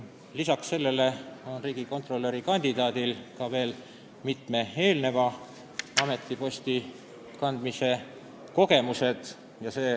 Peale selle on tal veel mitmelt ametipostilt saadud kogemused.